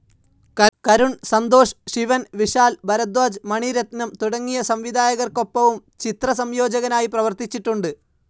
കരുൺ, സന്തോഷ് ശിവൻ, വിശാൽ ഭരധ്വാജ്, മണി രത്നം തുടങ്ങിയ സംവിധായകർക്കൊപ്പവും ചിത്രസംയോജകനായി പ്രവർത്തിച്ചിട്ടുണ്ട്.